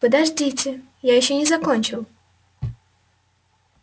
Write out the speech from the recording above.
подождите я ещё не закончил